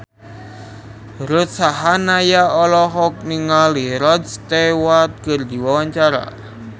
Ruth Sahanaya olohok ningali Rod Stewart keur diwawancara